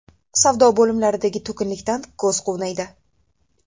Savdo bo‘limlaridagi to‘kinlikdan ko‘z quvnaydi.